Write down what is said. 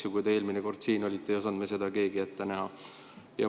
Kui te eelmine kord siin olite, ei osanud me keegi seda ette näha.